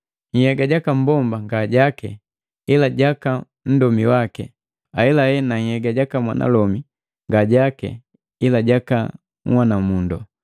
Yega jaka mmbomba ngajake ila jaka nndomi waki, ahelahe na nhyega jaka mwanalomi nga jaki ila jaka unhwana mundu.